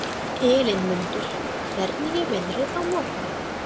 Elínmundur, hvernig er veðrið á morgun?